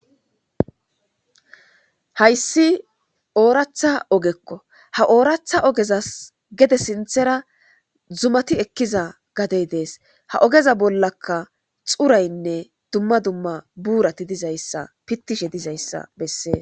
hayssi ooratha ogekko ha ooratha ogeza gede sinthera zumati ekkiza gadey dees ha ogeza bollaka xuraynne dumma dumma buurati dizayssa pittishe dizayssa bessee